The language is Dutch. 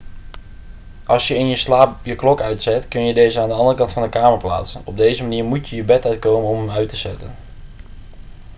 als je in je slaap je klok uitzet kun je deze aan de andere kant van de kamer plaatsen op deze manier moet je je bed uitkomen om hem uit te zetten